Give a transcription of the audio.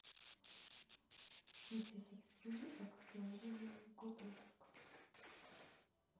нити судьбы актеры и год выпуска